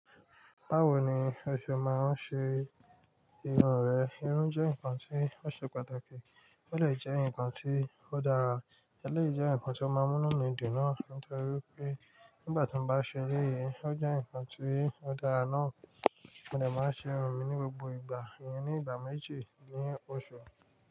Báwo ni o ṣe máa ń ṣe irun rẹ? Irun jẹ́ nǹkan tí ó ṣe pàtàkì, ó dè jẹ́ nǹkan tí ó dára, eleyi jẹ́ nǹkan tí ó máa n mú inu mi dun naa nítorí wipé nígbà tí mo bá ṣe léyìí, ó jẹ́ nǹkan tí ó dára náà. Mo dè máa ṣe irun mi ní gbogbo ìgbà iyẹn ní ìgbà méjì ní oṣù.